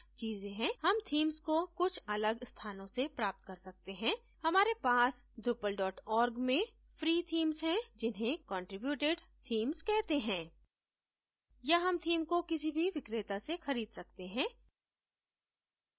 हम themes को कुछ अलग स्थानों से प्राप्त कर सकते हैं हमारे पास drupal org में फ्री themes हैं जिन्हें contributed themes कहते हैं या हम theme को किसी भी विक्रेता से खरीद सकते हैं